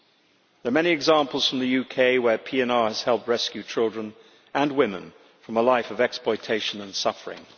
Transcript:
There are many examples from the UK where PNR has helped rescue children and women from a life of exploitation and suffering.